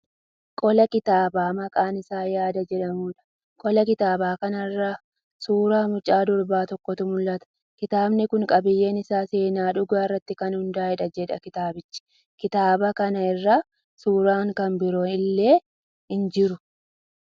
Qola kitaabaa maqaan isaa 'Yaada' jedhamuudha. Qola kitaaba kanaa irra suuraa mucaa durbaa tokkotu mul'ata. Kitaabni kun qabiyyeen isaa 'seenaa dhugaa irratti kan hundaa'eedha' jedha kitaabicha. Kitaaba kan irra suuraan kan biroon illee jiru.